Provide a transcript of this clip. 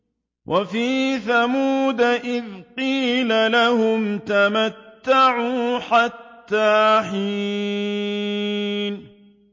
وَفِي ثَمُودَ إِذْ قِيلَ لَهُمْ تَمَتَّعُوا حَتَّىٰ حِينٍ